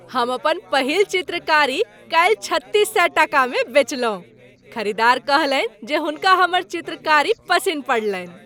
हम अपन पहिल चित्रकारी काल्हि छत्तीस सए टाकामे बेचलहुँ। खरीदार कहलनि जे हुनका हमर चित्रकारी पसिन्न पड़लनि।